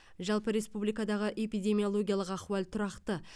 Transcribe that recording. жалпы республикадағы эпидемиологиялық ахуал тұрақты